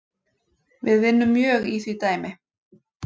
Við vinnum mjög í því dæmi